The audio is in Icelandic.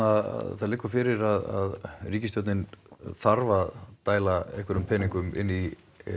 það liggur fyrir að stjórnin þarf að dæla einhverjum peningum inn í